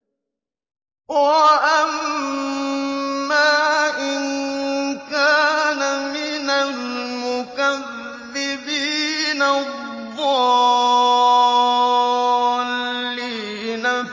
وَأَمَّا إِن كَانَ مِنَ الْمُكَذِّبِينَ الضَّالِّينَ